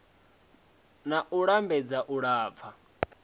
na u lambedza u lafha